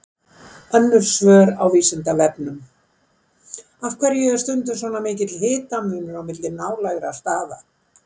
Önnur svör á Vísindavefnum: Af hverju er stundum svona mikill hitamunur á milli nálægra staða?